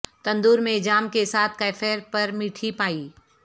تندور میں جام کے ساتھ کیفیر پر میٹھی پائی